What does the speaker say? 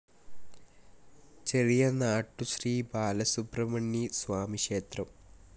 ചെറിയനാട്ടു ശ്രീ ബാലസുബ്രഹ്മണ്യ സ്വാമി ക്ഷേത്രം